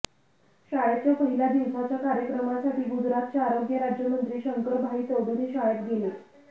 शाळेच्या पहिल्या दिवसाच्या कार्यक्रमासाठी गुजरातचे आरोग्य राज्यमंत्री शंकरभाई चौधरी शाळेत गेले